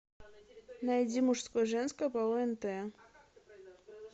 найди мужское женское по онт